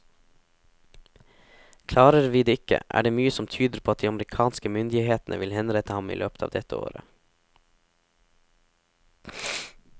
Klarer vi det ikke, er det mye som tyder på at de amerikanske myndighetene vil henrette ham i løpet av dette året.